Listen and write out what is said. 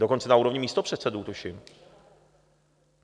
Dokonce na úrovni místopředsedů, tuším.